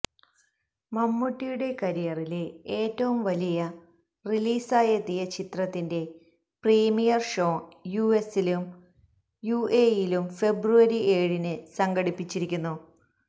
മമ്മൂട്ടിയുടെ കരിയറിലെ ഏറ്റവും വലിയ റിലീസായെത്തിയ ചിത്രത്തിന്റെ പ്രീമിയർ ഷോ യുഎസിലും യുഎഇ യിലും ഫെബ്രുവരി ഏഴിന് സംഘടിപ്പിച്ചിരുന്നു